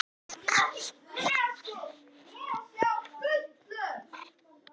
Jónas Magnússon fjallar um botnlangann í svari við spurningunni Til hvers er botnlanginn?